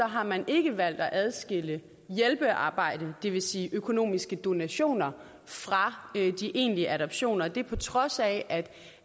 har man ikke valgt at adskille hjælpearbejdet det vil sige økonomiske donationer fra de egentlige adoptioner og det er på trods af